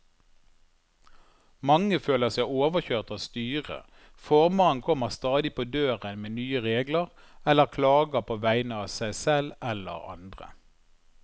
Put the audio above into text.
Mange føler seg overkjørt av styret, formannen kommer stadig på døren med nye regler eller klager på vegne av seg selv eller andre.